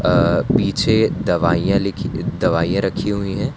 अ पीछे दवाइयां लिखी दवाइयां रखी हुई है।